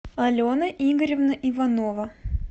алена игоревна иванова